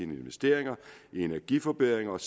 investering i energiforbedringer og